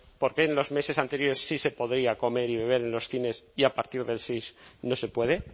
por qué en los meses anteriores sí se podía comer y viven en los cines y a partir del seis no se puede